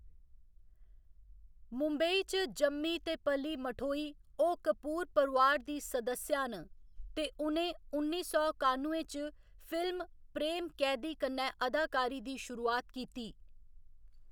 मुंबई च जम्मी ते पली मठोई, ओह्‌‌ कपूर परोआर दी सदस्या न, ते उ'नें उन्नी सौ कानुए च फिल्म प्रेम कैदी कन्नै अदाकारी दी शुरुआत कीती।